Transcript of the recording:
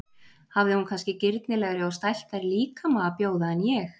Hafði hún kannski girnilegri og stæltari líkama að bjóða en ég?